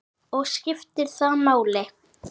Og skiptir það máli?